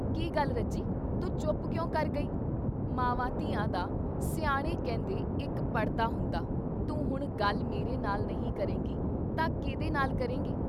ਕੀ ਗੱਲ ਰੱਜੀ ! ਤੂੰ ਚੁੱਪ ਕਿਉਂ ਕਰ ਗਈ ? ਮਾਵਾਂ ਧੀਆਂ ਦਾ ਸਿਆਣੇ ਕਹਿੰਦੇ ਇੱਕ ਪੜ੍ਹਦਾ ਹੁੰਦਾ, ਤੂੰ ਹੁਣ ਗੱਲ ਮੇਰੇ ਨਾਲ ਨਹੀਂ ਕਰੇਂਗੀ ਤਾਂ ਕੀਹਦੇ ਨਾਲ ਕਰੇਂਗੀ?